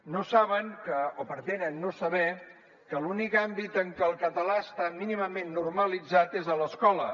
no saben o pretenen no saber que l’únic àmbit en què el català està mínimament normalitzat és a l’escola